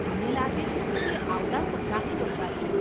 મને લાગે છે કે તે આવતાં સપ્તાહે યોજાશે.